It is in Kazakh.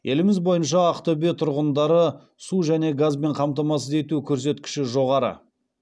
еліміз бойынша ақтөбеде тұрғындарды су және газбен қамтамасыз ету көрсеткіші жоғары